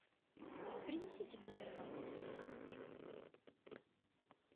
принесите в номер вазу для цветов пожалуйста